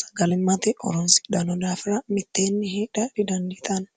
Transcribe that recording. sagalmmate horonsidhno daafira mitteenni hedha didandiitanno